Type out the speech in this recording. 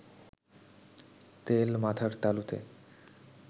তেল মাথার তালুতে